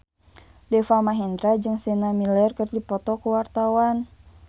Deva Mahendra jeung Sienna Miller keur dipoto ku wartawan